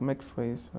Como é que foi isso?